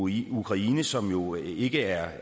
i ukraine som jo ikke er